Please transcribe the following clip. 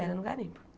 Era num garimpo.